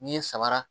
N'i ye sabara